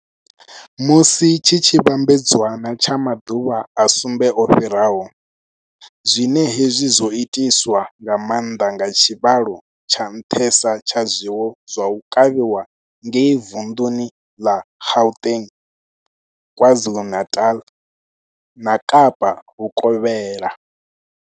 musi tshi tshi vhambedzwa na tsha maḓuvha a sumbe o fhiraho, zwine hezwi zwo itiswa nga maanḓa nga tshivhalo tsha nṱhesa tsha zwiwo zwa u kavhiwa ngei vunḓuni ḽa Gauteng, KwaZulu-Natal na Kapa Vhukovhela.